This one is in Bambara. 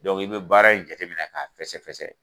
i be baara in jateminɛ k'a fɛsɛ-fɛsɛ